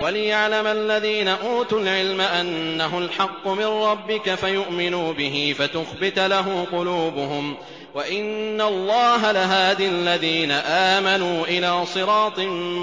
وَلِيَعْلَمَ الَّذِينَ أُوتُوا الْعِلْمَ أَنَّهُ الْحَقُّ مِن رَّبِّكَ فَيُؤْمِنُوا بِهِ فَتُخْبِتَ لَهُ قُلُوبُهُمْ ۗ وَإِنَّ اللَّهَ لَهَادِ الَّذِينَ آمَنُوا إِلَىٰ صِرَاطٍ